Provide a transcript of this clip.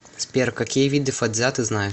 сбер какие виды фацзя ты знаешь